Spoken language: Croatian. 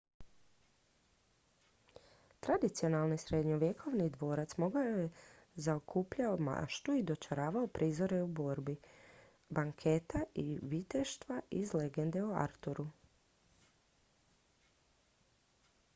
tradicionalni srednjovjekovni dvorac dugo je zaokupljao maštu i dočaravao prizore borbi banketa i viteštva iz legende o arturu